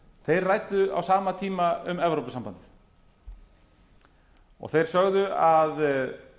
þeir ræddu á sama tíma um evrópusambandi og þeir